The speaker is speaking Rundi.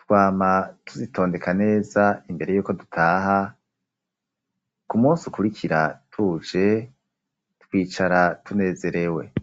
twama tuzitondeka neza imbere yuko dutaha, ku musi ukurikira tuje twicara tunezerewe.